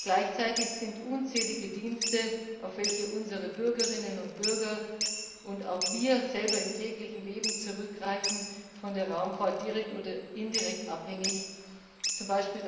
Gleichzeitig sind unzählige Dienste, auf welche unsere Bürgerinnen und Bürger und auch wir selber im täglichen Leben zurückgreifen, von der Raumfahrt direkt oder indirekt abhängig, z.